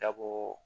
Dabo